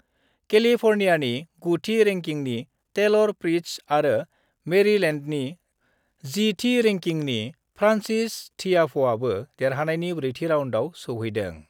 केलिफर्नियानि 9 थि रेंकिंनि Taylor Fritz आरो मेरिलेन्डनि 10 थि रेंकिंनि फ्रान्सिस थियाफ'आबो देरहानानै ब्रेथि राउन्डआव सौहैदों।